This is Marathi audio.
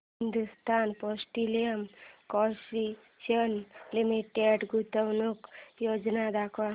हिंदुस्थान पेट्रोलियम कॉर्पोरेशन लिमिटेड गुंतवणूक योजना दाखव